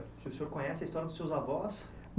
Se o senhor conhece a história dos seus avós?